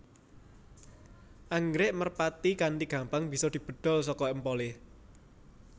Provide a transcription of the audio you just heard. Anggrèk merpati kanthi gampang bisa dibedhol saka empolé